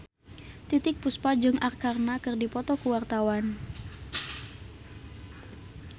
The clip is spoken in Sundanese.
Titiek Puspa jeung Arkarna keur dipoto ku wartawan